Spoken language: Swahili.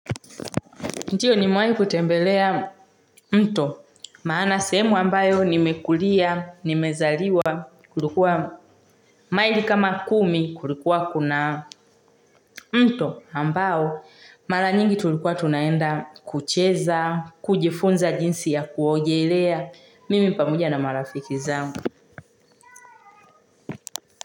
Ndiyo, nimewahi kutembelea mto maana sehemu ambayo nmezaliwa na nmekulia, maili kama saba, kulikuwa na mto ambao mara nyingi tulikua tunaenda kucheza, kujifunza jinsi ya kuogelea, mimi pamoja na marafiki wangu.